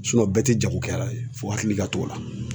bɛɛ tɛ jagokɛla fo hakili ka t'o la